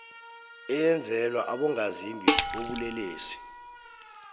eyenzelwa abongazimbi bobulelesi